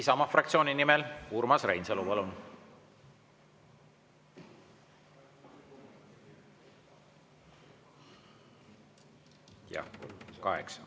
Isamaa fraktsiooni nimel Urmas Reinsalu, palun!